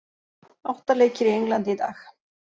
Átta leikir í Englandi í dag